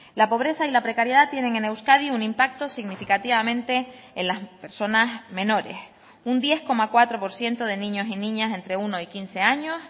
la pobreza y la precariedad tienen en euskadi un impacto significativamente en las personas menores un diez coma cuatro por ciento de niños y niñas entre uno y quince años